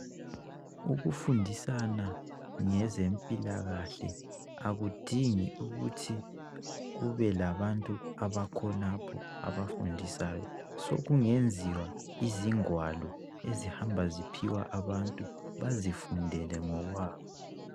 Ukufundisana ngezempilakahle akudingi ukuthi kube labantu abakhonapho abafundisayo sokungenziwa izigwalo ezingahamba ziphiwa abantu , bazifundele ngokwabo.